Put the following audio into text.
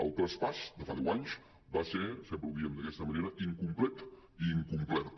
el traspàs de fa deu anys va ser sempre ho diem d’aquesta manera incomplet i incomplert